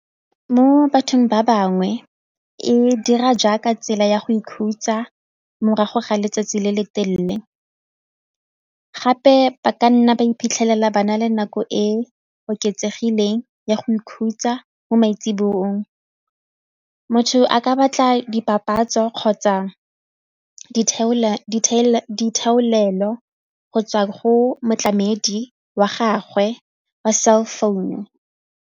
Mo bathong ba bangwe e dira jaaka tsela ya go ikhutsa morago ga letsatsi le le telele gape ba ka nna ba iphitlhelela ba na le nako e oketsegileng ya go ikhutsa mo maitsiboeng, motho a ka batla dipapatso kgotsa go tswa go motlamedi wa gagwe wa cell founu.